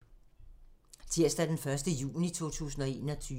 Tirsdag d. 1. juni 2021